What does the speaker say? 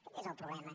aquest és el problema